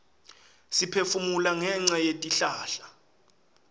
siphefumula ngenca yetihlahla